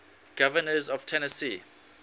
governors of tennessee